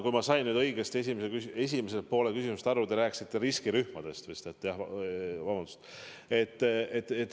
Kui ma nüüd õigesti esimesest küsimusest aru sain, siis te rääkisite riskirühmadest.